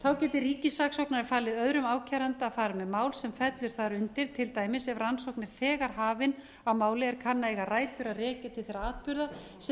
þá geti ríkissaksóknari falið öðrum ákæranda að fara með mál sem fellur þar undir til dæmis ef rannsókn er þegar hafin á máli er kann að eiga rætur að rekja til þeirra atburða sem